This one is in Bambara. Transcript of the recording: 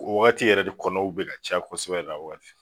O wagati yɛrɛ de kɔnɔw bɛ ka ca kosɛbɛ la waati.